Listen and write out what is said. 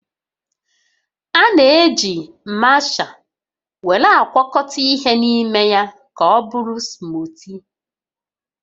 A na-eji masha were agwakọta ihe n'ime ya ka ọbụrụ smootii